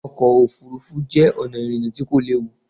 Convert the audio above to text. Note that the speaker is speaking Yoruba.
Ọkọ̀ òfuurufú jẹ́ ọ̀nà ìrìnà tí kò léwu.